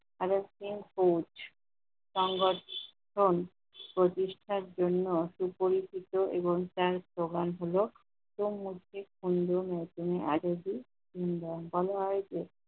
Coach সংগঠন প্রতিষ্ঠায় জন্য সুপরিচিত এবং ত্যাগ প্রদান হলো মুখ্যমন্ত্রীর সাথে নতুন আজ অব্দি নিয়মখানা হয়েছে।